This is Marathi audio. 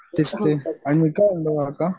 तेचते काका